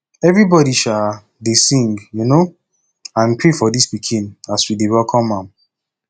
everybody um dey sing um and pray for dis pikin as we dey welcome am